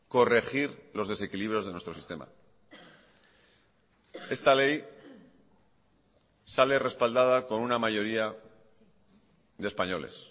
corregir los desequilibrios de nuestro sistema esta ley sale respaldada con una mayoría de españoles